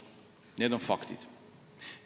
Need on faktid.